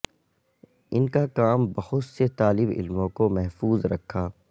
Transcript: ان کا کام بہت سے طالب علموں کو محفوظ رکھا